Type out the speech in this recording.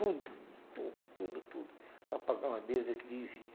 Tudo, tudo, tudo, tudo, para pagar uma dívida que devia.